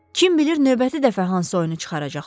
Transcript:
Kim bilir növbəti dəfə hansı oyunu çıxaracaqsan.